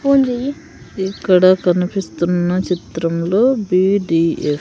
ఇక్కడ కనిపిస్తున్న చిత్రంలో బి_డి_ఎ --